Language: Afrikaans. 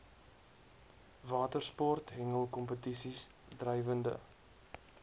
watersport hengelkompetisies drywende